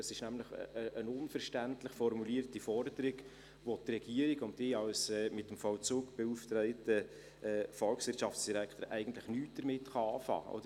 Es ist nämlich eine unverständlich formulierte Forderung, mit welcher die Regierung und ich als mit dem Vollzug beauftragter Volkswirtschaftsdirektor eigentlich nichts anfangen kann.